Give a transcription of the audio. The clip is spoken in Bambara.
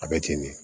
A bɛ ten de